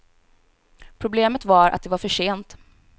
Problemet var att det var för sent.